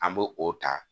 An b'o o ta